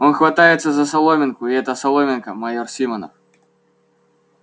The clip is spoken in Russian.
он хватается за соломинку и эта соломинка майор симонов